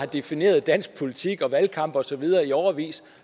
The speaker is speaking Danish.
har defineret dansk politik og valgkampe og så videre i årevis